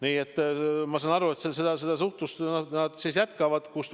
Nii et ma olen aru saanud, et seda suhtlust nad jätkavad.